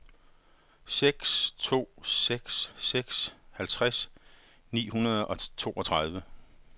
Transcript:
seks to seks seks halvtreds ni hundrede og toogtredive